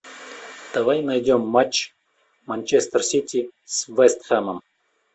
давай найдем матч манчестер сити с вест хэмом